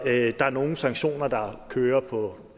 at der er nogle sanktioner der kører på